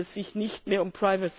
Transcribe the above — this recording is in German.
Da handelt es sich nicht mehr um